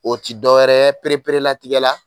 O ti dɔ wɛrɛ perepere latigɛ la